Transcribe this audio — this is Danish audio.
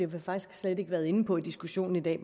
vi faktisk slet ikke været inde på i diskussionen i dag